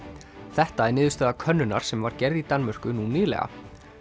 þetta er niðurstaða könnunar sem var gerð í Danmörku nú nýlega